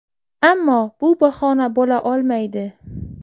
Ammo bu bahona bo‘la olmaydi.